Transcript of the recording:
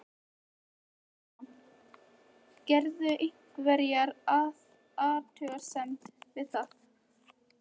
Þorbjörn Þórðarson: Gerirðu einhverja athugasemd við það?